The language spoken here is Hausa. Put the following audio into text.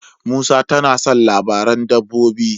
Musa tana son labaran dabbobi.